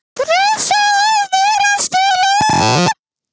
Pressa á mér að spila